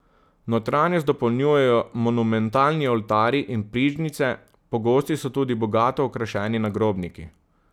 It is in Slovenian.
Notranjost dopolnjujejo monumentalni oltarji in prižnice, pogosti so tudi bogato okrašeni nagrobniki.